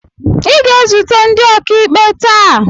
ị ga-ezute ndị okaikpe tàà